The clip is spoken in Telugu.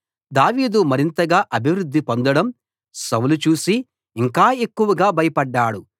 దావీదు మరింతగా అభివృద్ధి పొందడం సౌలు చూసి ఇంకా ఎక్కువగా భయపడ్డాడు